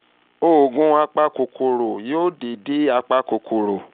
oògùn apakòkòrò déédéé apakòkòrò